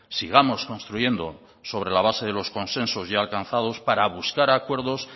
sigamos construyendo sobre la base de los consensos ya alcanzados para buscar acuerdos